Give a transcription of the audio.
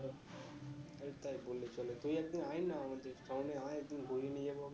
ভাই তাই বললে চলে? তুই একদিন আয়ে না আমাদের সামনে আয়ে একদিন নিয়ে যাবো আমরা